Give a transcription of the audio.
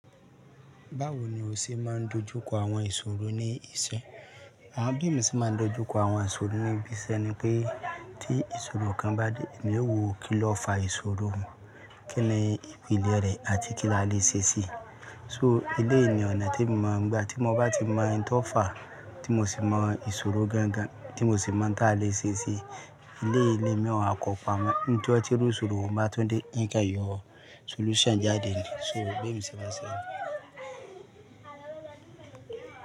Báwo ni o ṣe máa ń dojú kọ àwọn ìṣòro ní iṣẹ́? Àwọn bí emi ṣe máa ń dojú kọ àwọn ìṣòro níbi iṣẹ́ ni pé tí ìṣòro kan bá dé, èmi yóò wo kí lo fa ìṣòro un, kíni ipilẹ̀ rẹ̀ àti kí la le ṣe sí i. So eléyìí ni ọ̀nà tí mo mọ̀ nígbà tí mo bá ti mọ oun tó fà á, tí mo sì mọ ìṣòro gangan, tí mo sì mọ̀ oun táa lè ṣe sí i. Eléyìí ni emí ò wa kọ pàmọ́. Níjọ́ tí iru ìṣòro un bá tun dé, n kọ yọ solution jáde níì. So bí emi ṣe máa ń ṣe.